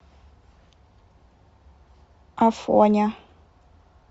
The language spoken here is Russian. афоня